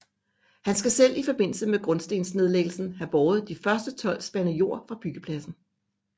Han skal selv i forbindelse med grundstensnedlæggelsen have båret de første tolv spande jord fra byggepladsen